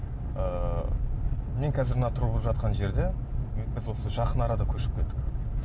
ыыы мен қазір мына тұрып жатқан жерде біз осы жақын арада көшіп келдік